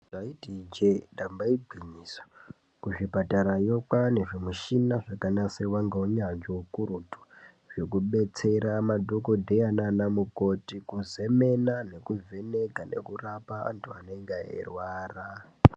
Taiti ijee damba igwinyiso, kuzvipatarayo kwaane zvimushina zvakanasirwa ngounyanzvi ukurutu zvekubetsera madhogodheya nanamukoti kuzemena, kuvheneka nekurapa antu anenge eirwara.